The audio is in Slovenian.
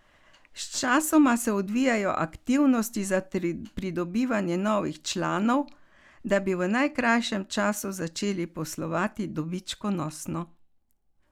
Sočasno se odvijajo aktivnosti za pridobivanje novih članov, da bi v najkrajšem času začeli poslovati dobičkonosno.